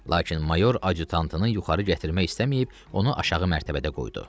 Lakin mayor adyutantını yuxarı gətirmək istəməyib, onu aşağı mərtəbədə qoydu.